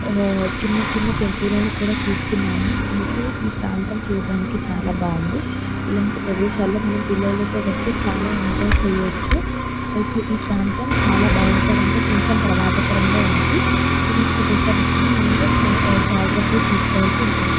ఆ చిన్న చిన్న జంతువులని కూడా చూస్తున్నాము ఐతే ఈ ప్రాంతం చూడ్డానికి చాలా బాగుంది ఇలాంటి ప్రదేశాల్లో మనం పిల్లల్తో వస్తే చాలా ఎంజాయ్ చెయ్యొచ్చు ఐతే ప్రాంతం చాల భయంకరంగా కొంచెం ప్రమాదకరంగా ఉంది ఇటు వంటి ప్రేదేశాల్లో మనం జాగ్రత్తలు తీసుకోవాల్సి ఉంటుంది .